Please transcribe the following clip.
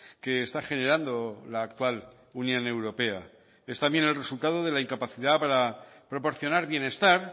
que está generando la actual unión europea es también el resultado de la incapacidad para proporcionar bienestar